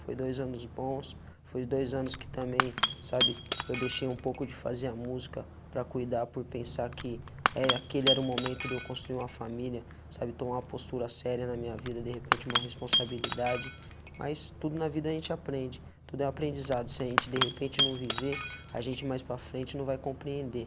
Foi dois anos bons, foi dois anos que também, sabe, eu deixei um pouco de fazer a música para cuidar, por pensar que era aquele era o momento de eu construir uma família, sabe, tomar a postura séria na minha vida, de repente uma responsabilidade, mas tudo na vida a gente aprende, tudo é aprendizado, se a gente de repente não viver, a gente mais para a frente não vai compreender.